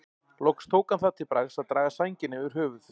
Loks tók hann það til bragðs að draga sængina yfir höfuðið.